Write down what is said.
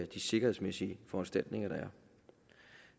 de sikkerhedsmæssige foranstaltninger der er